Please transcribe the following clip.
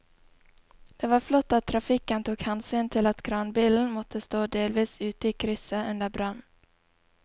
Det var flott at trafikken tok hensyn til at kranbilen måtte stå delvis ute i krysset under brannen.